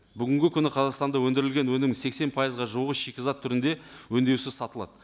бүгінгі күні қазақстанда өндірілген өнім сексен пайызға жуығы шикізат түрінде өңдеусіз сатылады